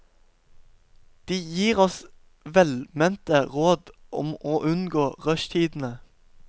De gir oss velmente råd om å unngå rushtidene.